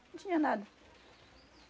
Não tinha nada.